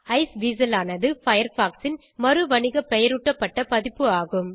Iceweasel ஆனது Firefox ன் மறுவணிகபெயரூட்டப்பட்ட பதிப்பு ஆகும்